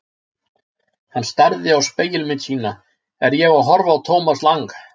Hann starði á spegilmynd sína: Er ég að horfa á Thomas Lang?